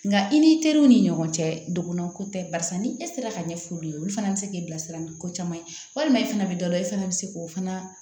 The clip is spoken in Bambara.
Nka i ni teriw ni ɲɔgɔn cɛ dɔgɔnan ko tɛ barisa ni e sera ka ɲɛfɔ olu ye olu fana be se k'i bilasira ni ko caman ye walima e fana bi dɔ la e fana bi se k'o fana